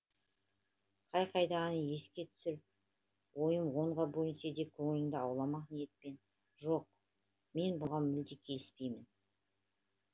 қай қайдағы еске түсіп ойым онға бөлінсе де көңіліңді ауламақ ниетпен жоқ мен бұған мүлде келіспеймін